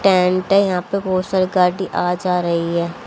Tent है यहां पे बहोत सारी गाड़ी आ जा रही है।